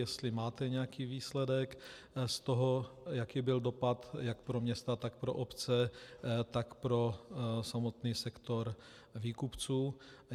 Jestli máte nějaký výsledek, z toho, jaký byl dopad jak pro města, tak pro obce, tak pro samotný sektor výkupců.